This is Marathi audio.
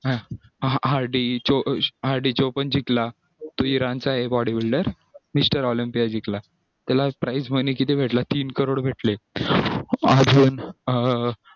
hadi choopan पण जिंकला तो इराणचाये body builder mr olympia जिंकला त्याला price money सुद्धा भेटला तीन करोड भेटले